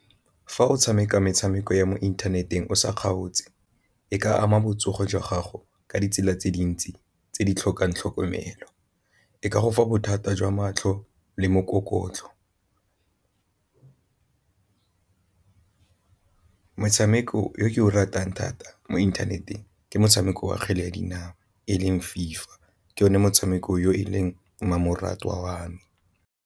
Fa o tshameka metshameko ya mo inthaneteng o sa kgaotse e ka ama botsogo jwa gago ka ditsela tse dintsi tse di tlhokang tlhokomelo, e ka go fa bothata jwa matlho le mokokotlo. Motshameko o ke o ratang thata mo inthaneteng ke motshameko wa kgwele ya dinao e leng FIFA ke one motshameko yo e leng mmamoratwa wa me.